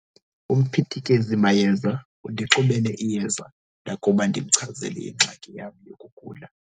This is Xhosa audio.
Umphithikezimayeza undixubele iyeza ndakuba ndimchazele ingxaki yam yokugula.